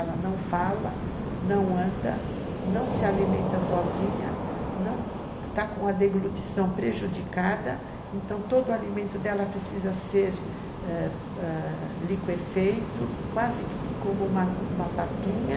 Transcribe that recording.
Ela não fala, não anda, não se alimenta sozinha, está com a deglutição prejudicada, então todo o alimento dela precisa ser liquefeito, quase que como uma papinha,